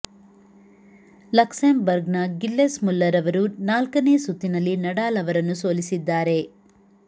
Luxembourg ನ Gilles Muller ಅವರು ನಾಲ್ಕನೇ ಸುತ್ತಿನಲ್ಲಿ ನಡಾಲ್ ಅವರನ್ನು ಸೋಲಿಸಿದ್ದಾರೆ